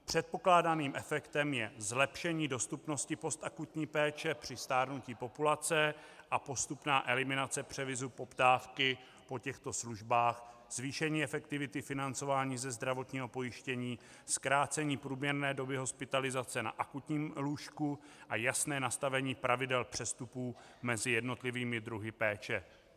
Předpokládaným efektem je zlepšení dostupnosti postakutní péče při stárnutí populace a postupná eliminace převisu poptávky po těchto službách, zvýšení efektivity financování ze zdravotního pojištění, zkrácení průměrné doby hospitalizace na akutním lůžku a jasné nastavení pravidel přestupů mezi jednotlivými druhy péče.